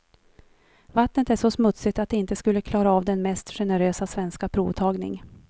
Vattnet är så smutsigt att det inte skulle klara av den mest generösa svenska provtagning.